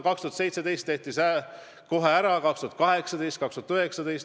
2017. aastal tehti see kohe ära ja jätkati maksmist 2018 ja 2019.